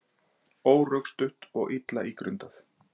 Órökstutt og illa ígrundað